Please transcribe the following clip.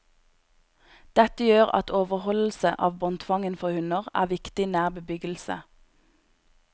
Dette gjør at overholdelse av båndtvangen for hunder er viktig nær bebyggelse.